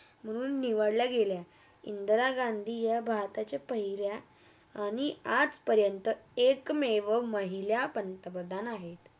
म्हणून निवडल्या गेल्या. इंद्रा गांधी भारताच्या पहिल्या आणि आज पर्यंत एक मेवा महिला पंतप्रधान आहे